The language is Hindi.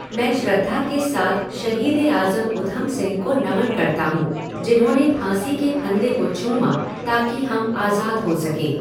मैं श्रद्धा के साथ शहीद ए आज़म उधम सिंह को नमन करता हूँ जिन्होंने फाँसी के फंदे को चूमा ताकि हम आज़ाद हो सकें।